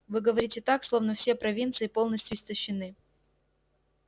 вы говорите так словно все провинции полностью истощены